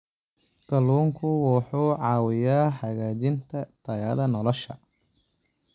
Kalluunku wuxuu caawiyaa hagaajinta tayada nolosha.